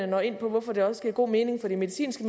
når ind på hvorfor det også giver god mening for de medicinske